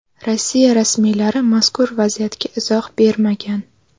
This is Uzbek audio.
Rossiya rasmiylari mazkur vaziyatga izoh bermagan.